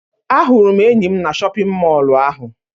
Ahụrụ m enyi m na shọpiñ mọlụ ahụ.